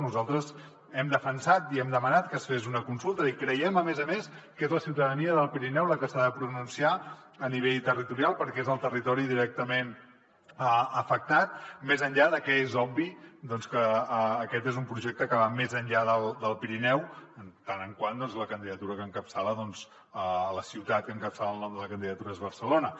nosaltres hem defensat i hem demanat que es fes una consulta i creiem a més a més que és la ciutadania del pirineu la que s’ha de pronunciar a nivell territorial perquè és el territori directament afectat més enllà que és obvi doncs que aquest és un projecte que va més enllà del pirineu en tant que la ciutat que encapçala el nom de la candidatura és barcelona